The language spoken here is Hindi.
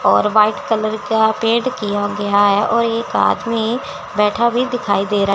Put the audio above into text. और वाइट कलर का पेंट किया गया है और एक आदमी बैठा भी दिखाई दे रहा--